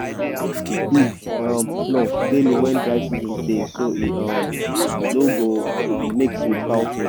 dey sweep feed um floor daily wen dry season dey so e um no go um mix with cow food.